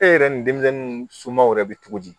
E yɛrɛ ni denmisɛnnu somɔgɔw yɛrɛ be cogo di